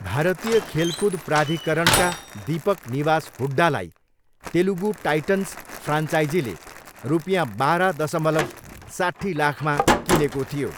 भारतीय खेलकुद प्राधिकरणका दीपक निवास हुड्डालाई तेलुगु टाइटन्स फ्रान्चाइजीले रुपियाँ बाह्र दसमलव साट्ठी लाखमा किनेको थियो।